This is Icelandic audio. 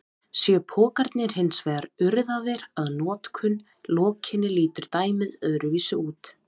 Séu pokarnir hins vegar urðaðir að notkun lokinni lítur dæmið öðruvísi út.